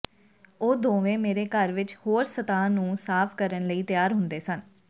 ਉਹ ਦੋਵੇਂ ਮੇਰੇ ਘਰ ਵਿਚ ਹੋਰ ਸਤਹਾਂ ਨੂੰ ਸਾਫ਼ ਕਰਨ ਲਈ ਤਿਆਰ ਹੁੰਦੇ ਸਨ